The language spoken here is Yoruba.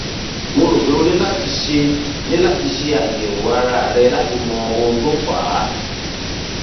mo rò pé o ní láti ṣe ní láti ṣe àyẹwò ara rẹ láti mọ ohun tó fà á